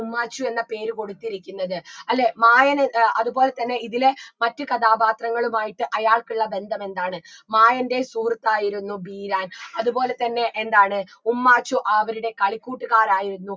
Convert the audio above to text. ഉമ്മാച്ചു എന്ന പേര് കൊടുത്തിരിക്കുന്നത് അല്ലേ മായൻ ഏർ അത് പോലെ തന്നെ ഇതിലെ മറ്റു കഥാപാത്രങ്ങളുമായിട്ട് അയാൾക്കുള്ള ബന്ധമെന്താണ് മായന്റെ സുഹൃത്തായിരുന്നു ബീരാൻ അത്പോലെ തന്നെ എന്താണ് ഉമ്മാച്ചു അവരുടെ കളിക്കൂട്ടുകരായിരുന്നു